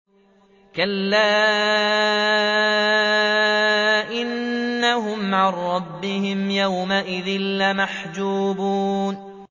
كَلَّا إِنَّهُمْ عَن رَّبِّهِمْ يَوْمَئِذٍ لَّمَحْجُوبُونَ